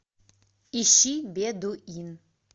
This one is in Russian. ищи бедуин